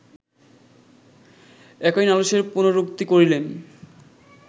একই নালিশের পুনরুক্তি করিলেন